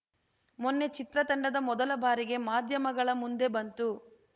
ಮೊನ್ನೆ ಚಿತ್ರತಂಡ ಮೊದಲ ಬಾರಿಗೆ ಮಾಧ್ಯಮಗಳ ಮುಂದೆ ಬಂತು